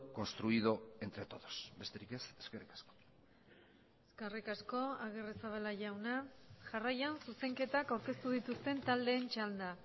construido entre todos besterik ez eskerrik asko eskerrik asko agirrezabala jauna jarraian zuzenketak aurkeztu dituzten taldeen txanda